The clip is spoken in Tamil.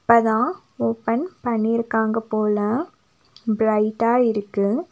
இப்பதா ஓபன் பண்ணிருக்காங்க போல பிரைட்டா இருக்கு.